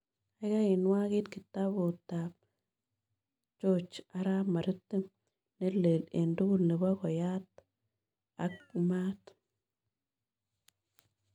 Gaigai inwagit kitabutab George arap maritim nelel eng' tugul nebo koyat ak maat